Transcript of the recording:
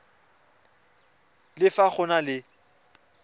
le fa go na le